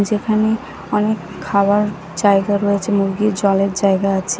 যেখানে অনেক খাবার জায়গা রয়েছে মুরগির জলের জায়গা আছে।